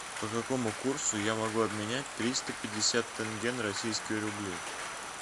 по какому курсу я могу обменять триста пятьдесят тенге на российские рубли